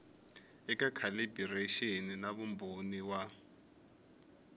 eka calibiraxini na vumbhoni wa